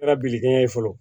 Kɛra biliki ye fɔlɔ